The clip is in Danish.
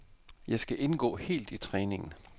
Jeg skal indgå helt i træningen.